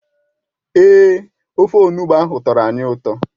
Èè, ofe Onugbụ ahụ tọrọ anyị ụtọ